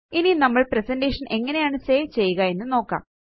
ഇനി നമ്മള് പ്രസന്റേഷൻ എങ്ങനെയാണ് സേവ് ചെയ്യുക എന്ന് നോക്കാം